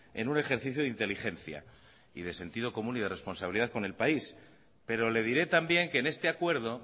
en un ejercicio de inteligencia y de sentido común y de responsabilidad con el país pero le diré también que en este acuerdo